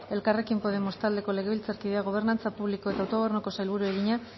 suárez elkarrekin podemos taldeko legebiltzarkideak gobernantza publiko eta autogobernuko sailburuari egina